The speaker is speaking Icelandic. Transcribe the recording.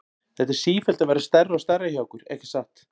Þetta er sífellt að verða stærra og stærra hjá ykkur, ekki satt?